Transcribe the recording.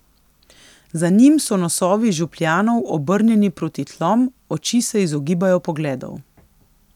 Za njim so nosovi župljanov obrnjeni proti tlom, oči se izogibajo pogledov.